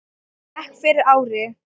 bekk fyrir ári.